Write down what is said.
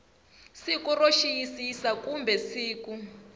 siku ro xiyisisa kumbe siku